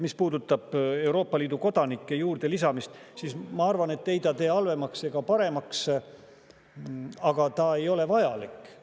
Mis puudutab Euroopa Liidu kodanike juurde lisamist, siis ma arvan, et ei see tee halvemaks ega paremaks, aga see ei ole vajalik.